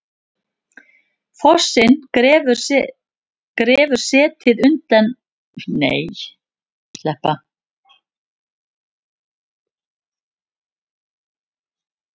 Fossinn grefur setið undan hraunlaginu uns það hrynur.